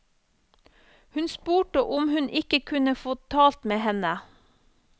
Hun spurte om hun ikke kunne få talt med henne.